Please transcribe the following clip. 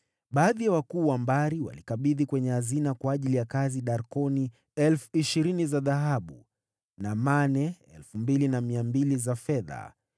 Baadhi ya viongozi wa jamaa walikabidhi kwenye hazina darkoni 20,000 za dhahabu, na mane 2,200 za fedha kwa ajili ya kazi hiyo.